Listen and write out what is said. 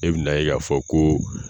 E bɛ n'a ye k'a fɔ ko